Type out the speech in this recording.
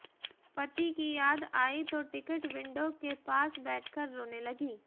पति की याद आई तो टिकट विंडो के पास बैठकर रोने लगी